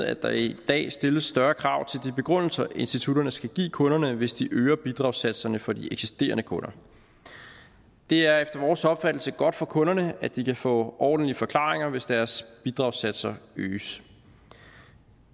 at der i dag stilles større krav til de begrundelser institutterne skal give kunderne hvis de øger bidragssatserne for de eksisterende kunder det er efter vores opfattelse godt for kunderne at de kan få ordentlige forklaringer hvis deres bidragssatser øges